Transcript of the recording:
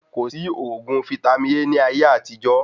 Kòsí oògùn vítámì A ní ayé àtijó